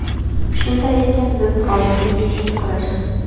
Shunday ekan, biz g‘oliblik uchun kurashamiz.